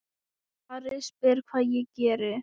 Ari spyr hvað ég geri.